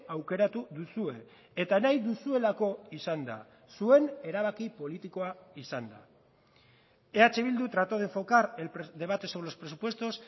aukeratu duzue eta nahi duzuelako izan da zuen erabaki politikoa izan da eh bildu trató de enfocar el debate sobre los presupuestos